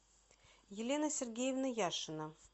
елена сергеевна яшина